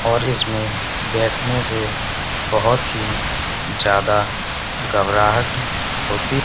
और इसमें बैठने से बहुत ही ज्यादा घबराहट होती--